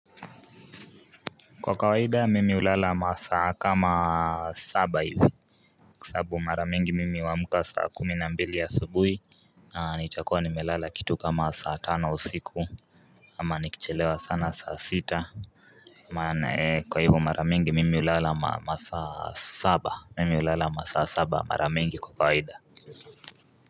Kwa kawaidha mimi ulala masa kama saba hivu Kisabu mara mingi mimi huamka saa kuminambili ya asubuhi ni chakwa ni melala kitu kama saa tano osiku ama nikichelewa sana saa sita Kwa hivu mara mingi mimi ulala masa saba mimi ulala masa saba mara mingi kwa kawahidha Si, si.